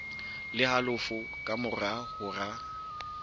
le halofo ka mora hora